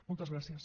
moltes gràcies